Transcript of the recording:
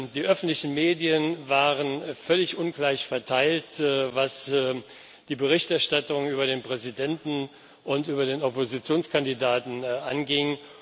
Die öffentlichen Medien waren völlig ungleich verteilt, was die Berichterstattung über den Präsidenten und über den Oppositionskandidaten anging.